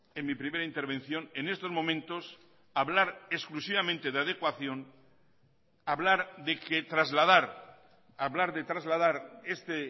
en mi primera intervención en estos momentos hablar exclusivamente de adecuación hablar de que trasladar hablar de trasladar este